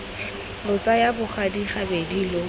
lo tsaya bogadi gabedi lo